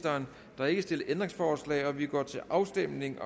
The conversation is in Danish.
der er ikke stillet ændringsforslag og vi går til afstemning